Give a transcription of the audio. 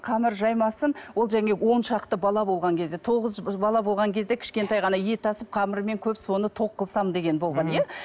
қамыр жаймасын ол жаңағы он шақты бала болған кезде тоғыз бала болған кезде кішкентай ғана ет асып қамырымен көп соны тоқ қылсам деген болған иә